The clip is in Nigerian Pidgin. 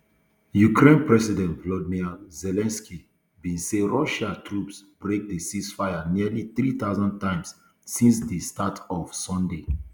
ukraine president volodymyr zelensky bin say russia troops break di ceasefire nearly three thousand times since di start of sunday